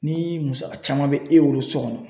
Ni musaka caman bɛ e bolo so kɔnɔ